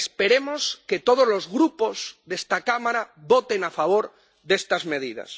Esperemos que todos los grupos de esta Cámara voten a favor de estas medidas.